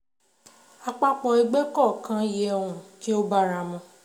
Àpapọ̀ ẹgbẹ́ kọ̀ọ̀kan yẹ um kí ó báramu